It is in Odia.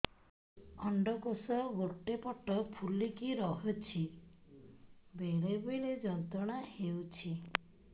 ଅଣ୍ଡକୋଷ ଗୋଟେ ପଟ ଫୁଲିକି ରହଛି ବେଳେ ବେଳେ ଯନ୍ତ୍ରଣା ହେଉଛି